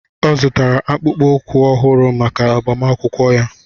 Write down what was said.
Ọ zụrụ akpa ụkwụ ọhụrụ maka agbamakwụkwọ ya.